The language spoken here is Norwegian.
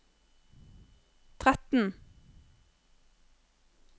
tretten